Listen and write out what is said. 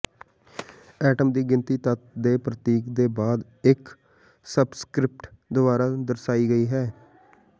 atom ਦੀ ਗਿਣਤੀ ਤੱਤ ਦੇ ਪ੍ਰਤੀਕ ਦੇ ਬਾਅਦ ਇੱਕ ਸਬਸਕਰਿਪਟ ਦੁਆਰਾ ਦਰਸਾਈ ਗਈ ਹੈ